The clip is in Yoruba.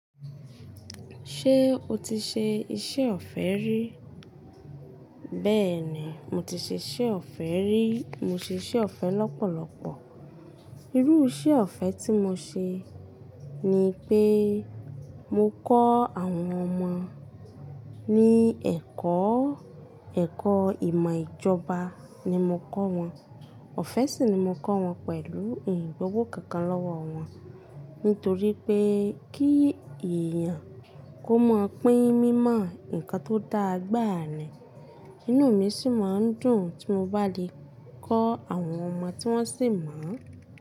Ṣé o ti ṣe iṣẹ́ ọ̀fẹ́ rí? Bẹ́ẹ̀ni, mo ti ṣe iṣẹ́ ọ̀fẹ́ rí. Mo ṣe iṣẹ́ ọ̀fẹ́ lọ́pọ̀lọpọ̀. Irú iṣẹ́ ọ̀fẹ́ tí mo ṣe ni pé mo kọ́ àwọn ọmọ ní ẹ̀kọ́. Ẹ̀kọ́ ìmọ̀ ìjọba ni mo kọ́ wọn. Ọ̀fẹ́ sì ni mo kọ́ wọn pẹ̀lú ín gbowo kankan lọ́wọ́ wọn nítorí pé kí èèyàn kó mọ̀ pín mímọ̀ nǹkan tó dáa gbáà ni. Inú mi sì máa ń dùn tí mo bá lè kọ́ àwọn ọmọ tí wọ́n sì mọ̀